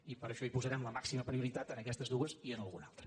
i per això hi posarem la màxima prioritat en aquests dues i en alguna altra